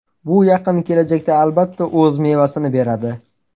Bu yaqin kelajakda albatta o‘z mevasini beradi.